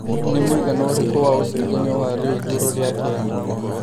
nĩ mũigana ũrikũ wa ũcejanĩa wa rĩu igũru rĩa Kenya